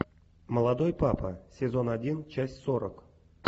молодой папа сезон один часть сорок